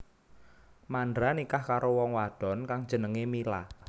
Mandra nikah karo wong wadon kang jenengé Mila